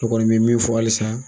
Ne kɔni bɛ min fɔ halisa